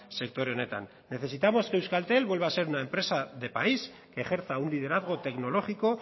sektore honetan necesitamos que euskaltel vuelva a ser una empresa de país que ejerza un liderazgo tecnológico